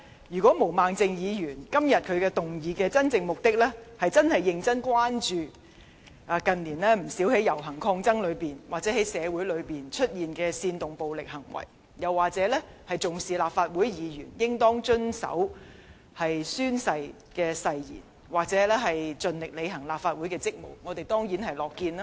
如果毛孟靜議員今天動議議案的真正目的，是想認真關注近年不少遊行抗爭期間或在社會上出現煽動暴力行為的現象，或重視立法會議員應當遵守宣誓誓言，盡力履行立法會議員的職務的話，我們當然是樂見的。